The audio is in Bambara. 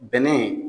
Bɛnɛ